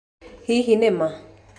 Hihi nĩ ma?